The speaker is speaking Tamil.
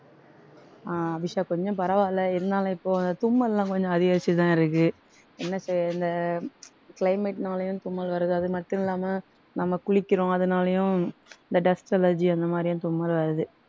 ஆஹ் அபிஷா கொஞ்சம் பரவாயில்லை இருந்தாலும் இப்போ அந்த தும்மல்லாம் கொஞ்சம் அதிகரிச்சுதான் இருக்கு. என்ன செய்ய இந்த climate னாலயும் தும்மல் வருது அது மட்டும் இல்லாம நம்ம குளிக்கிறோம் அதனாலயும் இந்த dust allergy அந்த மாதிரியும் தும்மல் வருது